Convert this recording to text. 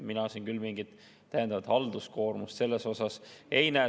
Mina siin küll mingit täiendavat halduskoormust ei näe.